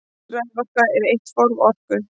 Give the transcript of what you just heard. Raforka er eitt form orku.